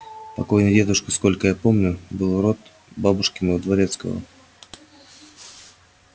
покойный дедушка сколько я помню был род бабушкиного дворецкого